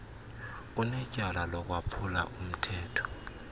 unetyala lokwaphula umthetho